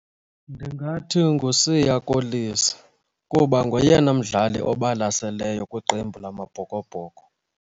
Ndingathi nguSiya Kolisi kuba ngoyena mdlali obalaseleyo kwiqembu lamaBhokoBhoko.